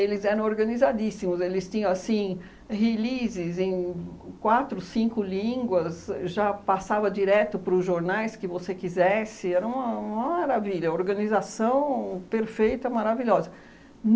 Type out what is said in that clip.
Eles eram organizadíssimos, eles tinham assim releases em quatro, cinco línguas, já passava direto para os jornais que você quisesse, era uma uma maravilha, organização perfeita, maravilhosa.